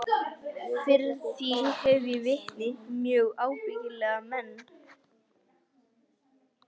Fyrir því hef ég vitni, mjög ábyggilega menn.